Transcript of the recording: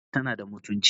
Yarinyar tana da mutunci?